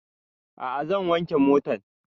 A'a zan wanke motan